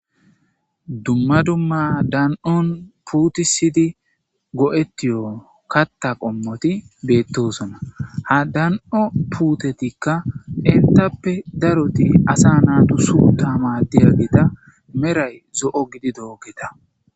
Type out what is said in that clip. Dumma dumma dan7on puutisidi go7etiyon katta qommoti beettosona ha dan'o puutetikka intappe daroti asa naatu su tama di agita meray zo7o gidi doogeta.